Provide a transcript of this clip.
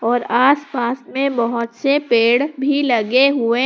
और आसपास मे बहोत से पेड़ भी लगे हुए--